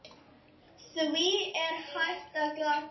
Því er hægt að glata!